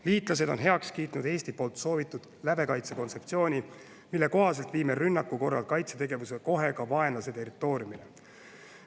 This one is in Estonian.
Liitlased on heaks kiitnud Eesti soovitud lävekaitse kontseptsiooni, mille kohaselt viime rünnaku korral kaitsetegevuse kohe ka vaenlase territooriumile.